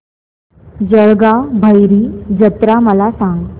जळगाव भैरी जत्रा मला सांग